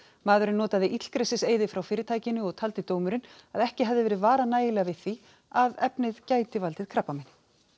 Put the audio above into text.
maðurinn notaði illgresiseyði frá fyrirtækinu og taldi dómurinn að ekki hefði verið varað nægilega við því að efnið gæti valdið krabbameini